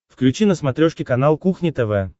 включи на смотрешке канал кухня тв